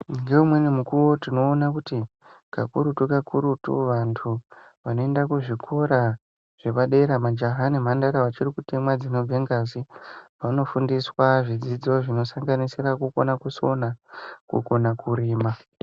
Ngeumweni mukuwo, tinoona kuti kakurutu-kakurutu vantu vanoenda kuzvikora zvepa dera, majaha nemhandara vachiri kutemwa dzinobve ngazi, vanofundiswa zvidzidzo zvinosanganisira kukona kusona, kukona kurima.